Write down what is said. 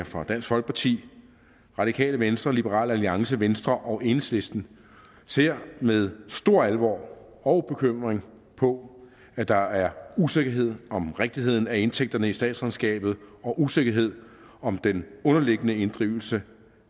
fra dansk folkeparti radikale venstre liberal alliance venstre og enhedslisten ser med stor alvor og bekymring på at der er usikkerhed om rigtigheden af indtægterne i statsregnskabet og usikkerhed om den underliggende inddrivelse